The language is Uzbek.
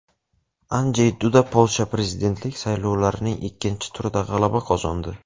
Anjey Duda Polsha prezidentlik saylovlarining ikkinchi turida g‘alaba qozondi.